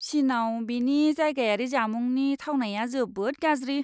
चिनआव बेनि जायगायारि जामुंनि थावनाया जोबोद गाज्रि!